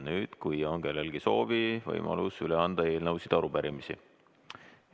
Nüüd, kui on kellelgi soovi, on võimalus üle anda eelnõusid ja arupärimisi.